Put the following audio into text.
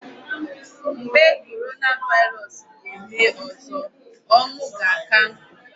Mgbe coronavirus ga-eme ọzọ, ọnwu ga-aka nkụ.